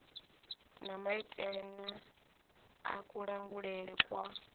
na maitele a kulangulele kwa